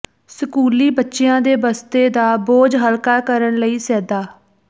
ਸਕੂਲੀ ਬੱਚਿਆਂ ਦੇ ਬਸਤੇ ਦਾ ਬੋਝ ਹਲਕਾ ਕਰਨ ਲਈ ਸੇਧਾਂ